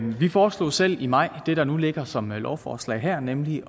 vi foreslog selv i maj det der nu ligger som lovforslag her nemlig